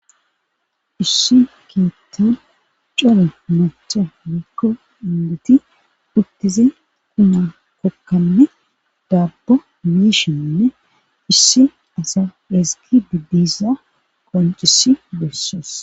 Issi keettan cola macha mikko indeti puttize kuna kokkanne daabbo mishinne issi asa dhiski biddisa qoncisi besses